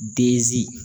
Bzi